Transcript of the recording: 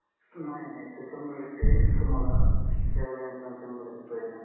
नाही नाही सर शंभर टक्के तुम्हाला सेवा देण्याचा आम्ही शंभर टक्के प्रयत्न करू